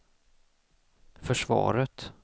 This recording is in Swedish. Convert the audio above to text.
försvaret